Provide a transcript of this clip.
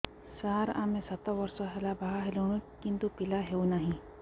ସାର ଆମେ ସାତ ବର୍ଷ ହେଲା ବାହା ହେଲୁଣି କିନ୍ତୁ ପିଲା ହେଉନାହିଁ